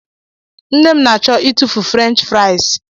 Nne m na-achọ ịtụfu French fries.